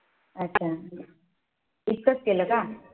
अच्छा अच्छा इतकंच केले का?